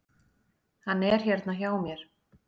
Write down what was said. Hann er hérna hjá mér.